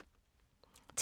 TV 2